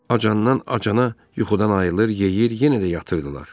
Acandan acana yuxudan ayılır, yeyir, yenə də yatırdılar.